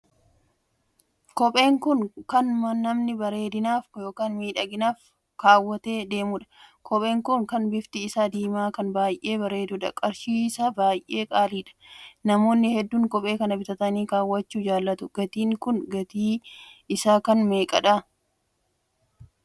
Kopheen kun kan namni bareedinaaf ykn miidhaginaaf kaawwatee deemuudha. kopheen kun kan bifti isaa diimaa kan baay'ee bareeduudha. qarshii isaa baay'ee qaaliidha. namoonni hedduun kophee kan bitatanii kaawwachuu jaallatu. gatiin Kun gatiin isaa kan meeqaadha? kopheen kun eessatti oomishamee?